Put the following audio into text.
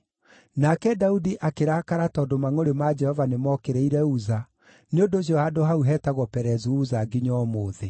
Nake Daudi akĩrakara tondũ mangʼũrĩ ma Jehova nĩmookĩrĩire Uza, nĩ ũndũ ũcio handũ hau hetagwo Perezu-Uza nginya ũmũthĩ.